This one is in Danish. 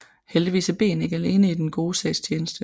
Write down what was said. Heldigvis er Ben ikke alene i den gode sags tjeneste